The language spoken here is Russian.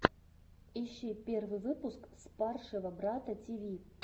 ищи первый выпуск спаршего брата тиви